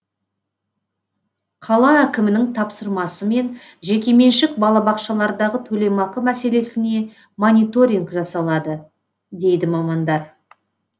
қала әкімінің тапсырмасымен жекеменшік балабақшалардағы төлемақы мәселесіне мониторинг жасалады дейді мамандар